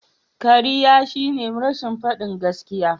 Kariya shine rashin fadin gaskiya.